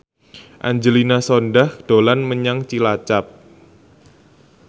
Angelina Sondakh dolan menyang Cilacap